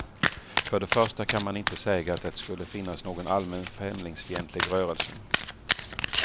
För det första kan man inte säga att det skulle finnas någon allmän främlingsfientlig rörelse.